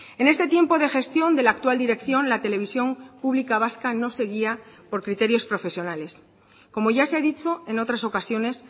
en este tiempo de gestión de la actual dirección la televisión pública vasca no se guía por criterios profesionales como ya se ha dicho en otras ocasiones